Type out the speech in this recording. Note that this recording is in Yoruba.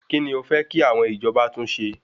Kíni o fẹ́ kí àwọn ìjọba tún ṣe?